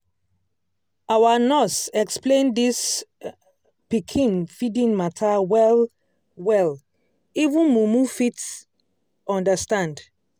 our nurse explain this um pikin feeding matter well-well even mumu fit um understand.